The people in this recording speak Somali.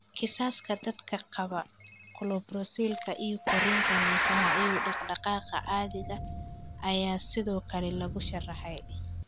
Kiisaska dadka qaba colpocephalka iyo korriinka neerfaha iyo dhaqdhaqaaqa caadiga ah ayaa sidoo kale lagu sharraxay.